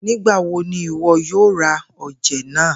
Nigbawo ni iwọ yoo ra oje naa?